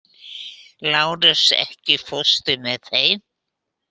Lárus, ekki fórstu með þeim?